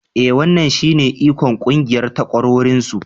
E wannan shine ikon ƙungiyar takwarorinsu.